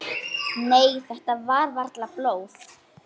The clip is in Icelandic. Og búin að lifa allt.